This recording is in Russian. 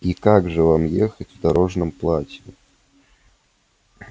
и как же вам ехать в дорожном платье